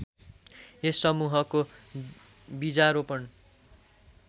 यस समूहको बीजारोपण